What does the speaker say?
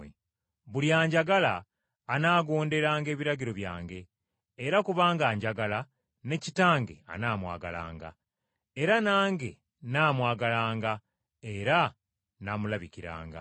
Buli anjagala anaagonderanga ebiragiro byange; era kubanga anjagala, ne Kitange anaamwagalanga. Era nange nnaamwagalanga, era nnaamulabikiranga.”